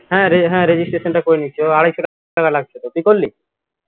হ্যা হ্যা registration টা করে নিয়েছি ও আড়াইশো টাকা লাগছে তো তুই করলি